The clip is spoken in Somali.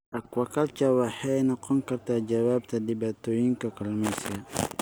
Aquaculture waxay noqon kartaa jawaabta dhibaatooyinka kalluumeysiga.